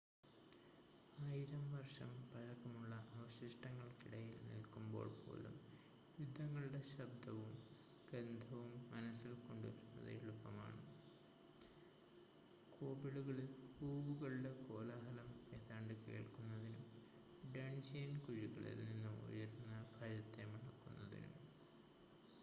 ആയിരം വർഷം പഴക്കമുള്ള അവശിഷ്ടങ്ങൾക്കിടയിൽ നിൽക്കുമ്പോൾ പോലും യുദ്ധങ്ങളുടെ ശബ്ദവും ഗന്ധവും മനസ്സിൽ കൊണ്ടുവരുന്നത് എളുപ്പമാണ് കോബിളുകളിൽ ഹൂവുകളുടെ കോലാഹലം ഏതാണ്ട് കേൾക്കുന്നതിനും ഡൺജിയൻ കുഴികളിൽ നിന്ന് ഉയരുന്ന ഭയത്തെ മണക്കുന്നതിനും